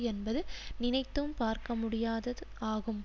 என்பது நினைத்தும் பார்க்கமுடியாதது ஆகும்